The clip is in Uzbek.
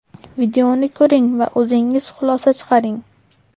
Videoni ko‘ring va o‘zingiz xulosa chiqaring.